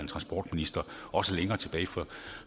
transportministre også